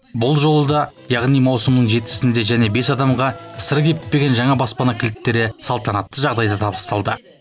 бұл жолы да яғни маусымның жетісінде және бес адамға сыры кеппеген жаңа баспана кілттері салтанатты жағдайда табысталды